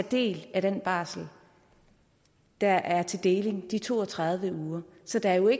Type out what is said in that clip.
del af den barsel der er til deling de to og tredive uger så der er jo i